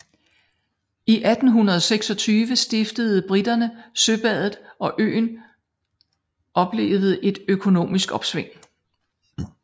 I 1826 stiftede briterne søbadet og øen oplevede et økonomisk opsving